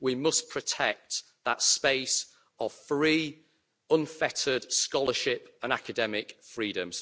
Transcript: We must protect that space of free, unfettered scholarship and academic freedom.